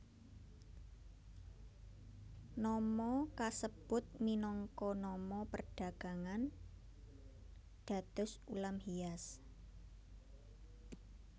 Nama kasebut minangka nama perdagangan dados ulam hias